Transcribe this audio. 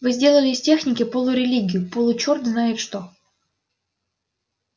вы сделали из техники полурелигию получёрт знает что